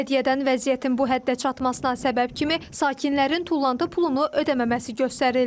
Bələdiyyədən vəziyyətin bu həddə çatmasına səbəb kimi sakinlərin tullantı pulunu ödəməməsi göstərildi.